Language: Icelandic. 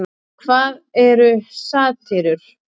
En hvað eru satírur?